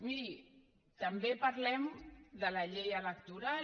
miri també parlem de la llei electoral